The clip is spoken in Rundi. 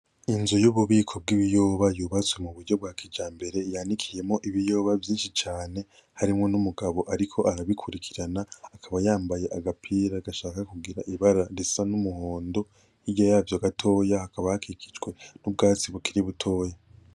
Inzu y'ububiko bw'ibiyoba yubatse mu buryo bwa kijambere yanikiyemwo ibiyoba vyinshi cane, harimwo n'umugabo ariko arabikurikirana akaba yambaye agapira gashaka kugira ibara risa n'umuhondo, hirya yavyo gatoya hakaba hakikijwe n'ubwatsi bukiri butoya.